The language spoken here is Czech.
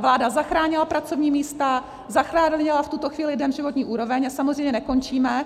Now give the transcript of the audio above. vláda zachránila pracovní místa, zachránila v tuto chvíli lidem životní úroveň, a samozřejmě nekončíme.